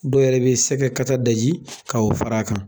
Dɔw yɛrɛ bɛ se ka sɛgɛ daji k'o fara a kan.